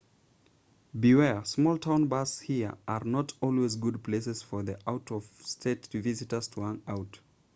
beware small-town bars here are not always good places for the out-of-state visitor to hang out